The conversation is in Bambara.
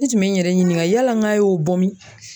N tun bɛ n yɛrɛ ɲininka yala ŋ'a y'o bɔ min?